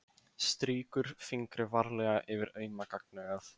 Strýkur fingri varlega yfir auma gagnaugað.